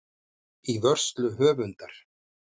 Í vörslu höfundar.